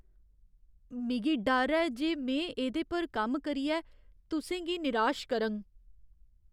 मिगी डर ऐ जे में एह्दे पर कम्म करियै तुसें गी निराश करङ।